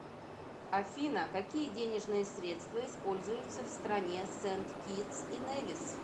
афина какие денежные средства используются в стране сент китс и невис